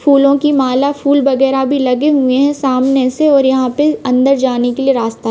फूलो की माला फूल वगेरह भी लगे हुए है सामने से और यहाँ पे अंदर जाने के लिए रास्ता--